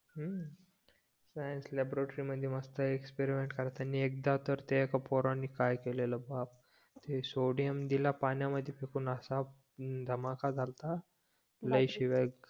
हम्म सायन्स लायब्रेटरीमध्ये तर मस्त एक्सपिरीयन्स त्यांनी एकदा तर ते एका पोरांनी काय केलेलं बाप सोडियम दिला पाण्यामध्ये फेकून असां धमाका झालता लई शिव्या